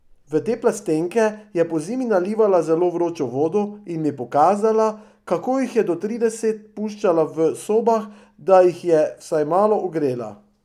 V te plastenke je pozimi nalivala zelo vročo vodo in mi pokazala, kako jih je do trideset puščala v sobah, da jih je vsaj malo ogrela.